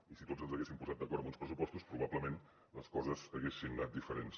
i si tots ens haguéssim posat d’acord amb uns pressupostos probablement les coses haguessin anat diferents